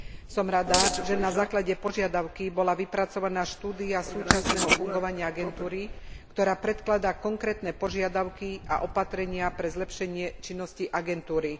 Som rada, že na základe požiadavky bola vypracovaná štúdia súčasného fungovania agentúry, ktorá predkladá konkrétne požiadavky a opatrenia pre zlepšenie činnosti agentúry.